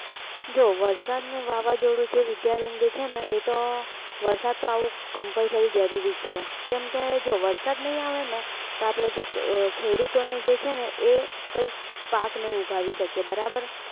જો વરસાદ ને વાવાજોડું જે વિદ્યા બેન જે છે ને એતો વરસાદ તો આવો compulsory જરૂરી છે કેમ કે જો વરસાદ નઈ આવે ને તો અપડે જે ખેડૂતો ને જે છે એ કઈ પાક નઈ ઉગાવી શકીએ બરાબર